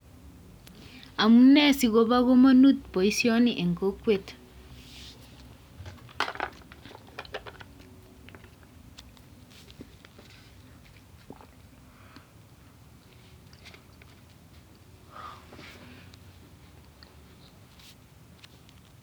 Amunee sikobo kamanut boisyoni en kokwet